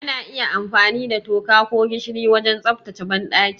Ana iya amfani da toka ko gishiri wajen tsaftace banɗaki.